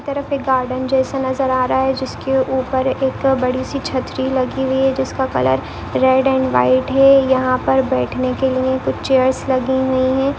तरफ एक गार्डन जैसा नजर आ रहा है जिसके ऊपर एक बड़ी सी छत्री लगी हुई है जिसका कलर रेड अँड व्हाइट है यहाँ पर बैठने के लिए कुछ चेअर्स लगी हुई है।